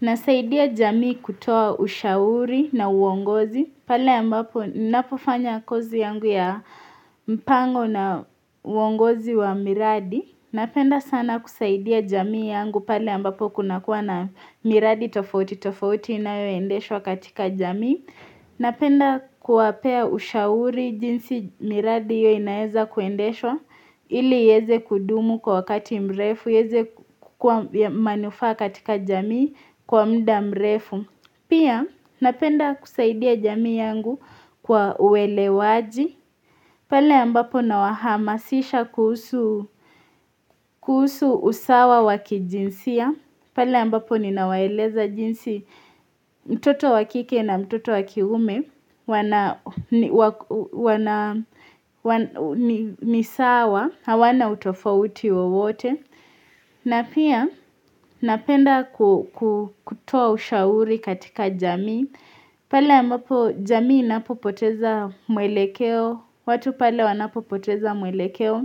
Nasaidia jamii kutoa ushauri na uongozi, pale ambapo napofanya kozi yangu ya mpango na uongozi wa miradi. Napenda sana kusaidia jamii yangu pale ambapo kunakuwa na miradi tofauti tofauti inayoendeshwa katika jamii. Napenda kuwapea ushauri jinsi miradi hiyo inaweza kuendeshwa, ili iweze kudumu kwa wakati mrefu, iweze kuwa manufaa katika jamii kwa muda mrefu. Pia napenda kusaidia jamii yangu kwa uwelewaji. Pale ambapo nawahamasisha kuhusu usawa wa kijinsia. Pale ambapo ninawaeleza jinsi mtoto wa kike na mtoto wa kiume. Ni sawa, hawana utofauti wowote. Na pia napenda kutoa ushauri katika jamii, pale ambapo jamii inapopoteza mwelekeo, watu pale wanapopoteza mwelekeo